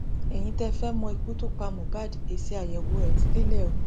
ẹyin tẹẹ fẹẹ mọ ikú tó pa mohbad èsì àyẹwò ẹ ti délé o